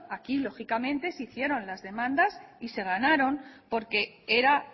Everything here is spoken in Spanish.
aquí lógicamente se hicieron las demandas y se ganaron porque era